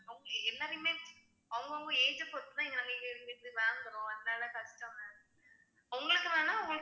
அவங்க எல்லாரையுமே அவங்கவங்க age அ பொறுத்துதான் இங்க நாங்க இங்க இருந்து வாங்குறோம் அதனால கஷ்டம் ma'am உங்களுக்கு வேணா